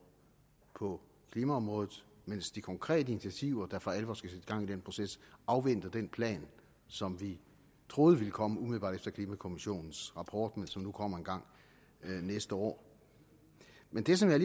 på klimaområdet mens de konkrete initiativer der for alvor skal sætte gang i den proces afventer den plan som vi troede ville komme umiddelbart efter klimakommissionens rapport men som nu kommer engang næste år men det som jeg